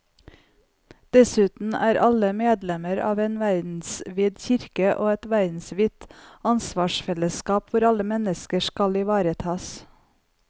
Dessuten er alle medlemmer av en verdensvid kirke og et verdensvidt ansvarsfellesskap hvor alle mennesker skal ivaretas.